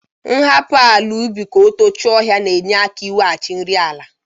Ịhapụ ala ubi ka o tochie ọhịa na-enye aka iweghachi nri ala.